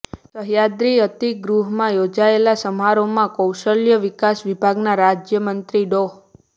સહ્યાદ્રિ અતિથિગૃહમાં યોજાયેલા સમારોહમાં કૌશલ્ય વિકાસ વિભાગના રાજ્યમંત્રી ડો